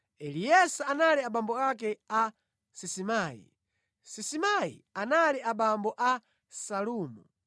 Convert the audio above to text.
Eleasa anali abambo ake a Sisimai, Sisimai anali abambo a Salumu,